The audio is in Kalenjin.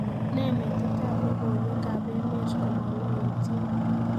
Ne metitab logywkeb emet komaloityin